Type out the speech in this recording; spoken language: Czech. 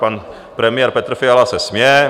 Pan premiér Petr Fiala se směje.